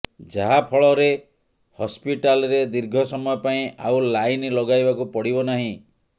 ଯାହାଫଳରେ ହସ୍ପିଟାଲରେ ଦୀର୍ଘ ସମୟ ପାଇଁ ଆଉ ଲାଇନ୍ ଲଗାଇବାକୁ ପଡ଼ିବ ନାହିଁ